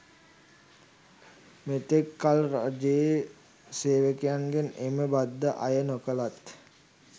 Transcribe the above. මෙතෙක් කල් රජයේ සේවකයින්ගෙන් එම බද්ද අය නොකළත්